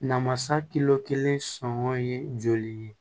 Namasa kilo kelen sɔngɔ ye joli ye